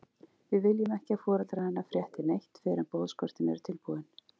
Við viljum ekki að foreldrar hennar frétti neitt fyrr en boðskortin eru tilbúin.